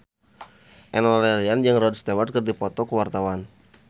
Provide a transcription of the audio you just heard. Enno Lerian jeung Rod Stewart keur dipoto ku wartawan